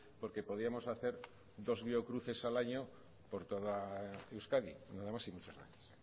porque podíamos hacer dos biocruces al año por toda euskadi nada más y muchas gracias